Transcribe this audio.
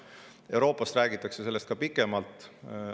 Euroopas räägitakse sellest ka pikalt.